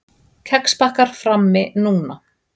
Kexpakkar frammi núna.